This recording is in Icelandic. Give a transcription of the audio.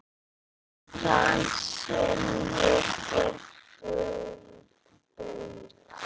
Það sem ég get bullað.